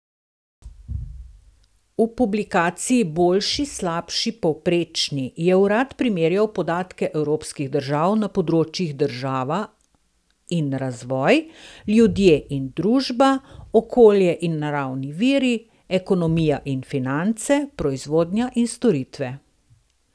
V publikaciji Boljši, slabši, povprečni je urad primerjal podatke evropskih držav na področjih država in razvoj, ljudje in družba, okolje in naravni viri, ekonomija in finance, proizvodnja in storitve.